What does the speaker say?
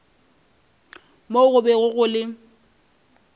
moo go bego go le